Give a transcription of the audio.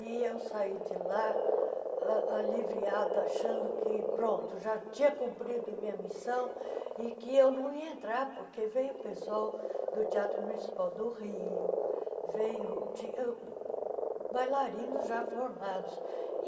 E eu saí de lá ãh aliviada, achando que já tinha cumprido a minha missão e que eu não ia entrar, porque veio pessoal do Teatro Municipal do Rio, veio ti bailarinos já formados.